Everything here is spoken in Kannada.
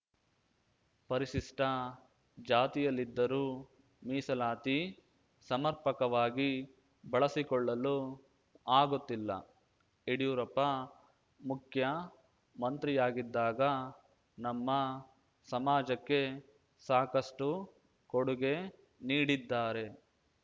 ಪರಿಶಿಷ್ಟಜಾತಿಯಲ್ಲಿದ್ದರೂ ಮೀಸಲಾತಿ ಸಮರ್ಪಕವಾಗಿ ಬಳಸಿಕೊಳ್ಳಲು ಆಗುತ್ತಿಲ್ಲ ಯಡ್ಯೂರಪ್ಪ ಮುಖ್ಯಮಂತ್ರಿಯಾಗಿದ್ದಾಗ ನಮ್ಮ ಸಮಾಜಕ್ಕೆ ಸಾಕಷ್ಟುಕೊಡುಗೆ ನೀಡಿದ್ದಾರೆ